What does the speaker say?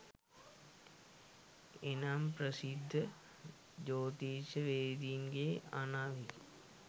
එනම් ප්‍රසිද්ධ ජෝතිෂ්‍යවේදීන්ගේ අනාවැකි